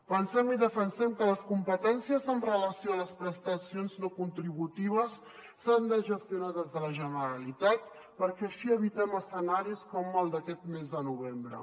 pensem i defensem que les competències amb relació a les prestacions no contributives s’han de gestionar des de la generalitat perquè així evitem escenaris com el d’aquest mes de novembre